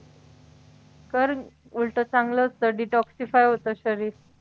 कर उलटं चांगलंच detoxify होतं शरीर